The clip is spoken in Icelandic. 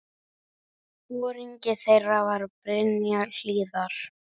Foringi þeirra var Brynja Hlíðar.